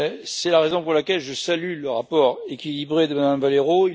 C'est la raison pour laquelle je salue le rapport équilibré de Mme Valero.